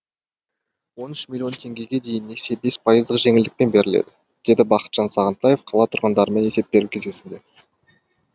он үш миллион теңгеге дейінгі несие бес пайыздық жеңілдікпен беріледі деді бақытжан сағынтаев қала тұрғындарымен есеп беру кездесуінде